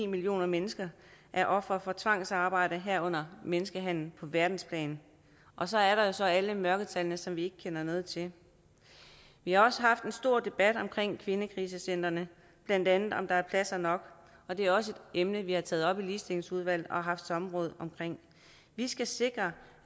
millioner mennesker er ofre for tvangsarbejde herunder menneskehandel på verdensplan og så er der jo så alle mørketallene som vi ikke kender noget til vi har også haft en stor debat om kvindekrisecentrene blandt andet har om der er pladser nok og det er også et emne vi har taget op i ligestillingsudvalget og har haft samråd om vi skal sikre